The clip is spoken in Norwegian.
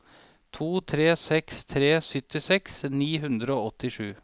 to tre seks tre syttiseks ni hundre og åttisju